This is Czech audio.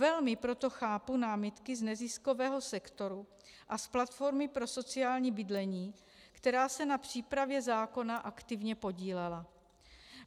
Velmi proto chápu námitky z neziskového sektoru a z platformy pro sociální bydlení, která se na přípravě zákona aktivně podílela.